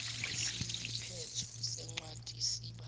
isiphetho sencwadi siba